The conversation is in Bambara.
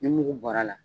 Ni mugu bɔra la